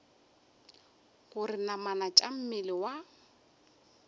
gore namana tša mmele wa